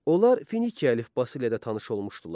Onlar Finikiya əlifbası ilə də tanış olmuşdular.